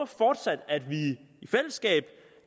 fortsat i fællesskab